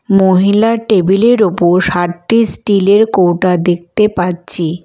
মহিলার টেবিলের -এর ওপর সাতটি স্টিলের -এর কৌটা দেখতে পাচ্ছি।